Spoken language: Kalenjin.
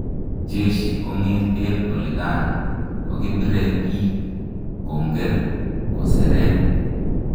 jeshi kongeten olikan, kokipire pik, konger, koseret